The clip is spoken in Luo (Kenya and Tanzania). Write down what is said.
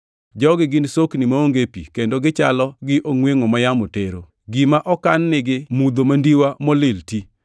Jogi gin sokni maonge pi kendo gichalo gi ongʼwengʼo ma yamo tero. Gima okan nigi mudho mandiwa molil ti.